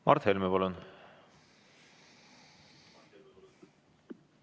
Mart Helme, palun!